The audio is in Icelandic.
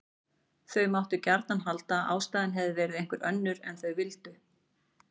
Þau máttu gjarnan halda að ástæðan hefði verið einhver önnur ef þau vildu.